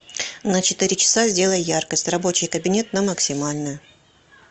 на четыре часа сделай яркость рабочий кабинет на максимальную